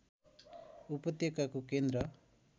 उपत्यकाको केन्द्र